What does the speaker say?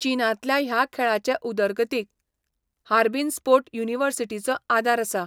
चीनांतल्या ह्या खेळाचे उदरगतीक हार्बिन स्पोर्ट युनिवर्सिटीचो आदार आसा.